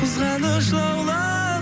қызғаныш лаулап